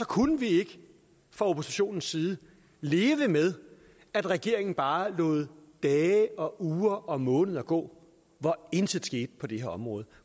kunne vi ikke fra oppositionens side leve med at regeringen bare lod dage og uger og måneder gå hvor intet skete på det her område